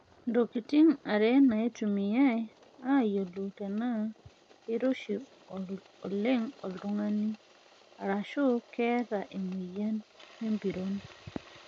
Ntokitin are eitumiyai aayiolou tenaa keiroshi oleng' oltung'ani aashu keeta emoyian empiron.